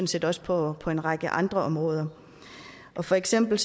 set også på på en række andre områder for eksempel